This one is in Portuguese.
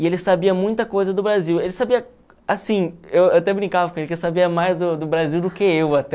E ele sabia muita coisa do Brasil, ele sabia, assim, eu eu até brincava com ele, que ele sabia mais do do Brasil do que eu até.